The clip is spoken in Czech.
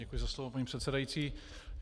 Děkuji za slovo, paní předsedající.